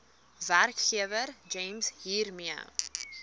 werkgewer gems hiermee